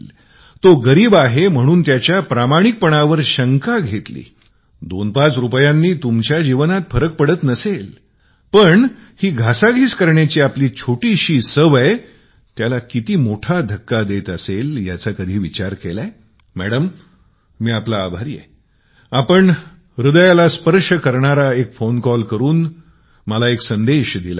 तो गरीब आहे म्हणून त्याच्या इमानदारीवर शंका घेतली दोनपाच रुपयांनी तुमच्या जीवनात फरक पडत नसेल पण आपली ही छोटीशी सवय त्याला किती मोठा धक्का देत असेल कधी विचार केला मैडम मी आपला आभारी आहे आपण हृदयाला स्पर्श करणारा फोन कॉल करून मला एक संदेश दिला आहे